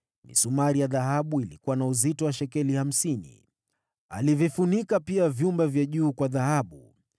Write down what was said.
Misumari ya dhahabu ilikuwa na uzito wa shekeli hamsini. Alivifunika pia vyumba vya juu kwa dhahabu.